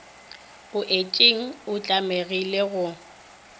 o itšeng o tlamegile go